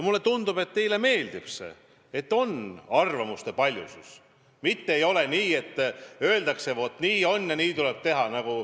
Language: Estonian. Mulle tundub, et teile meeldib, et on arvamuste paljusus, mitte ei ole nii, et öeldakse: vaat nii on ja nii tuleb teha.